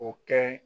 O kɛ